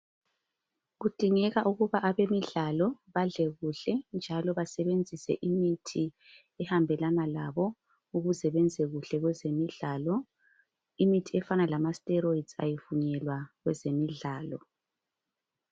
Kudingeka ukubana abemidlalo badlale kuhle njalo basebenzise imithi ehambelana labo ukuze benze kuhle kwezemidlalo. Imithi efana lama steroids ayivunyelwa kwezemidlalo